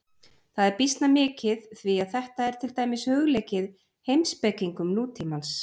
Það er býsna mikið því að þetta er til dæmis hugleikið heimspekingum nútímans.